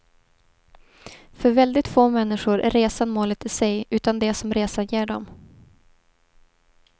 För väldigt få människor är resan målet i sig, utan det som resan ger dem.